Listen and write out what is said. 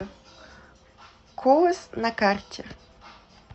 колос на карте